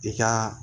I ka